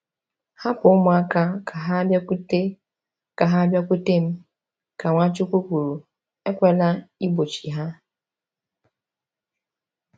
“Hapụ ụmụaka ka ha bịakwute ka ha bịakwute m,” ka Nwachukwu kwuru, “ekwela igbochi ha.”